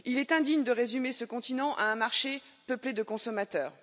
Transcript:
Il est indigne de résumer ce continent à un marché peuplé de consommateurs.